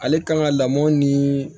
Ale kan ka lamɔ ni